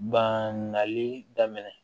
Ban nali daminɛ